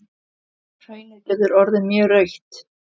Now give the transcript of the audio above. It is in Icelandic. Hraunið getur orðið mjög rautt.